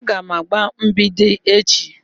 Aga m agba mgbidi echi